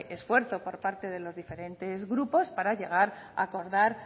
esfuerzo por parte de los diferentes grupos para llegar a acordar